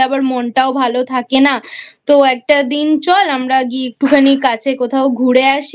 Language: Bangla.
আবার মনটাও ভালো থাকে না তো একটা দিন চল আমরা একটুখানি কাছে কোথাও ঘুরে আসি